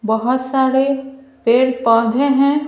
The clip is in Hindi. बहुत सारे पेड़ पौधे हैं।